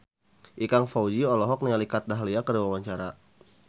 Ikang Fawzi olohok ningali Kat Dahlia keur diwawancara